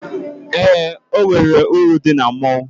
Eé, o nwere uru dị na mmọnwụ.